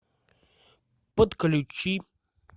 подключи